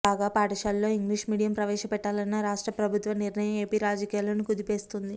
కాగా పాఠశాలల్లో English medium ప్రవేశపెట్టాలన్న రాష్ట్ర ప్రభుత్వ నిర్ణయం ఏపీ రాజకీయాలను కుదిపేస్తోంది